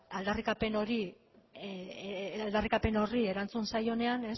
aldarrikapen horri erantzun zaionean